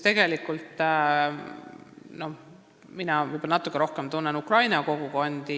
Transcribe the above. Mina tunnen natuke rohkem Ukraina kogukondi.